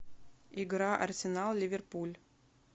игра арсенал ливерпуль